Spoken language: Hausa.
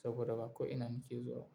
saboda ba ko ina na ke zuwa.